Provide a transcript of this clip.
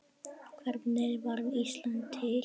Hvernig varð Ísland til?